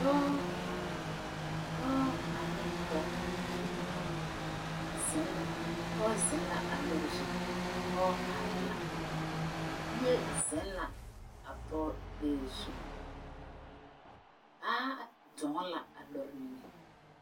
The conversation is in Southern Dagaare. Dɔɔ dɔɔ ane poge zeŋ pɔɔ zeŋ la a lɔre zu dɔɔ areɛɛ la bie zeŋ la a pɔɔ gbɛɛ zu baa dɔɔ la a lɔre niŋeŋ.